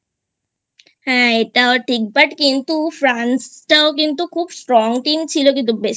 হ্যাঁ এটা ও ঠিক But কিন্তু France ও কিন্তু খুব Strong Team ছিল কিন্তু